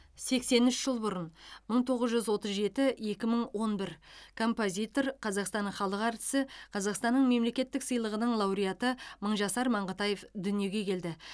сексен үш жыл бұрынмың тоғыз жүз отыз жеті екі мың он бір композитор қазақстанның халық әртісі қазақстанның мемлекеттік сыйлығының лауреатымыңжасар маңғытаевдүниеге келді